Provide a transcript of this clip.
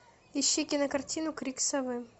ищи кинокартину крик совы